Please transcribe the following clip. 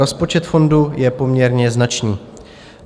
Rozpočet fondu je poměrně značný.